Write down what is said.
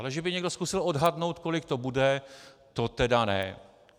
Ale že by někdo zkusil odhadnout, kolik to bude, to tedy ne.